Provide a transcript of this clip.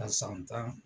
A san tan